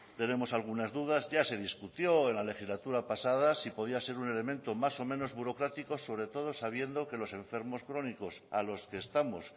tenemos algunas dudas ya se discutió en la legislatura pasada si podía ser un elemento más o menos burocrático sobre todo sabiendo que los enfermos crónicos a los que estamos